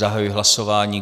Zahajuji hlasování.